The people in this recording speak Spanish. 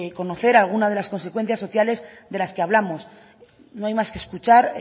conocer algunas de las consecuencias sociales de las que hablamos no hay más que escuchar